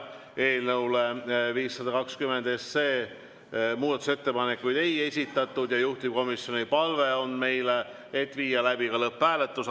Eelnõu 520 kohta muudatusettepanekuid ei esitatud ja juhtivkomisjoni palve meile on viia läbi ka lõpphääletus.